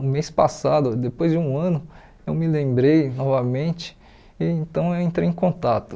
O mês passado, depois de um ano, eu me lembrei novamente e então eu entrei em contato.